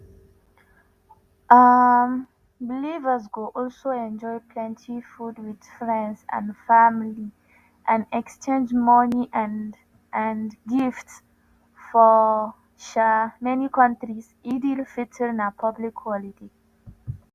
um believers go also enjoy plenty food wit friends and family and exchange money and and gifts – for um many kontris eid al-fitr na public holiday.